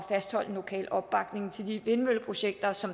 fastholde den lokale opbakning til vindmølleprojekter som